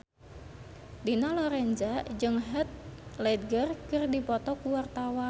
Dina Lorenza jeung Heath Ledger keur dipoto ku wartawan